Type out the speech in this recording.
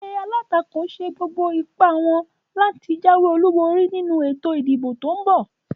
Egbé alátakò sa gbogbo ipá wón láti jáwé olúborí nínu ètò ìdìbò tón bò